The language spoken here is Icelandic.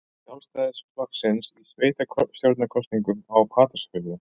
Sjálfstæðisflokksins í sveitarstjórnarkosningum á Patreksfirði.